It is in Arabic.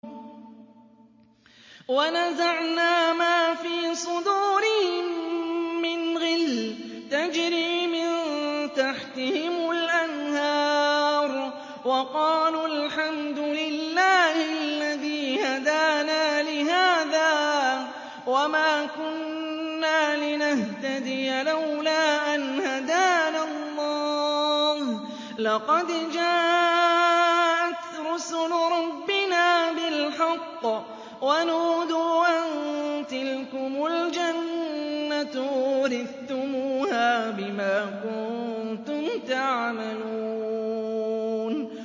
وَنَزَعْنَا مَا فِي صُدُورِهِم مِّنْ غِلٍّ تَجْرِي مِن تَحْتِهِمُ الْأَنْهَارُ ۖ وَقَالُوا الْحَمْدُ لِلَّهِ الَّذِي هَدَانَا لِهَٰذَا وَمَا كُنَّا لِنَهْتَدِيَ لَوْلَا أَنْ هَدَانَا اللَّهُ ۖ لَقَدْ جَاءَتْ رُسُلُ رَبِّنَا بِالْحَقِّ ۖ وَنُودُوا أَن تِلْكُمُ الْجَنَّةُ أُورِثْتُمُوهَا بِمَا كُنتُمْ تَعْمَلُونَ